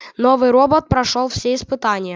новый робот прошёл все испытания